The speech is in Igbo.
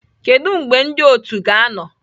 Kedu mgbe ndị otu ga-anọ?